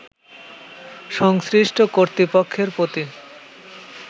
সংশ্লিষ্ট কর্তৃপক্ষের প্রতি